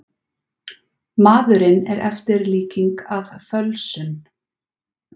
Maðurinn er eftirlíking af fölsun.